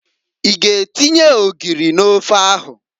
I g'atinye ogiri n'ofe ahụ?